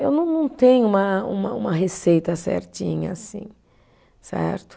Eu não não tenho uma uma uma receita certinha, assim, certo?